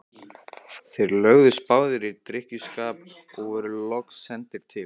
Þeir lögðust báðir í drykkjuskap og voru loks sendir til